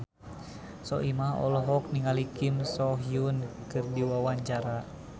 Soimah olohok ningali Kim So Hyun keur diwawancara